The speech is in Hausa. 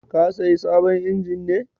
Ka sayi sabon injin ne?